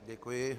Děkuji.